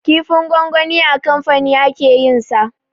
Kifin gwangwani a kamfani ake yin sa